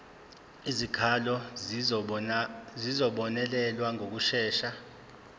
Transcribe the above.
izikhalazo zizobonelelwa ngokushesha